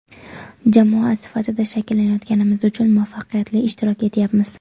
Jamoa sifatida shakllanayotganimiz uchun muvaffaqiyatli ishtirok etyapmiz.